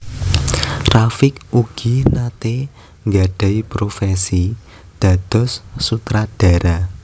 Rafiq ugi naté nggadhahi profesi dados sutradara